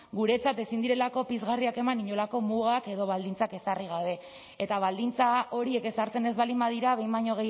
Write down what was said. guretzat ezin direlako pizgarriak eman inolako mugak edo baldintzak ezarri gabe eta baldintza horiek ezartzen ez baldin badira behin baino